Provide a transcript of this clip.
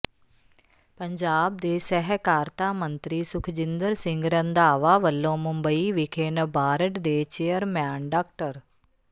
ਪੰਜਾਬ ਦੇ ਸਹਿਕਾਰਤਾ ਮੰਤਰੀ ਸੁਖਜਿੰਦਰ ਸਿੰਘ ਰੰਧਾਵਾ ਵੱਲੋਂ ਮੁੰਬਈ ਵਿਖੇ ਨਬਾਰਡ ਦੇ ਚੇਅਰਮੈਨ ਡਾ